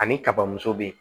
Ani kaba muso be yen